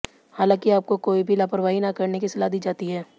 हालांकि आपको कोई भी लापरवाही न करने की सलाह दी जाती है